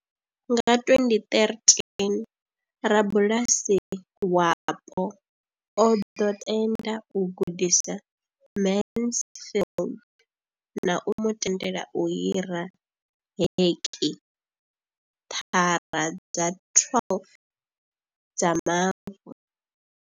Nga 2013, rabulasi wapo o ḓo tenda u gudisa Mansfield na u mu tendela u hira heki thara dza 12 dza mavu.